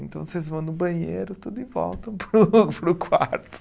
Então vocês vão no banheiro, tudo e voltam para para o quarto.